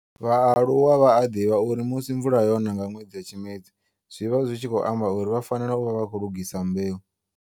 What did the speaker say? Vhaaluwa vha a ḓivha uri musi mvula yona nga nwedzi wa Tshimedzi, zwi vha zwi tshi khou amba uri vha fanela u vha vha khou lugisa mbeu.